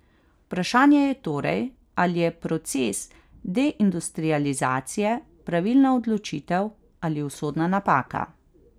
Vprašanje je torej, ali je proces deindustrializacije pravilna odločitev ali usodna napaka.